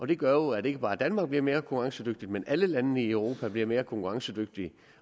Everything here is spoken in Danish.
det gør at ikke bare danmark bliver mere konkurrencedygtigt men at alle landene i europa bliver mere konkurrencedygtige